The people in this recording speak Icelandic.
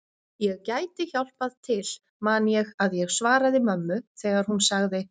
Ég gæti hjálpað til man ég að ég svaraði mömmu þegar hún sagði